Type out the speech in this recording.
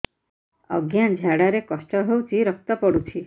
ଅଜ୍ଞା ଝାଡା ରେ କଷ୍ଟ ହଉଚି ରକ୍ତ ପଡୁଛି